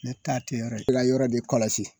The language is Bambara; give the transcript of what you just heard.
Ne ta te yɔrɔ ye i ka yɔrɔ de kɔlɔsi